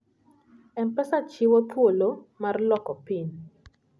M-Pesa chiwo thuolo mar loko PIN.